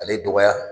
Ale dɔgɔya